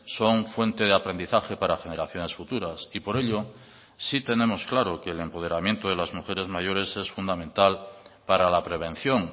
son fuente de aprendizaje para generaciones futuras y por ello sí tenemos claro que el empoderamiento de las mujeres mayores es fundamental para la prevención